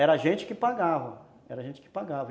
Era a gente que pagava, era a gente que pagava.